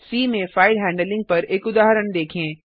सी में file handling पर एक उदाहरण देखें